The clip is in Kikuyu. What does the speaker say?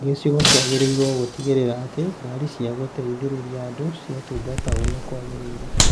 Gĩcigo kĩagĩrĩirwo gũtigĩrĩra atĩ ngaari cia gũteithĩrĩria andũ ciatungata ũrĩa kwagĩrĩire